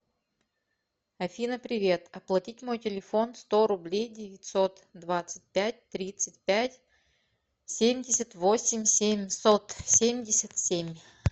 афина привет оплатить мой телефон сто рублей девятьсот двадцать пять тридцать пять семьдесят восемь семьсот семьдесят семь